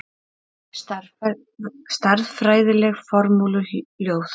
Stærðfræðileg formúluljóð.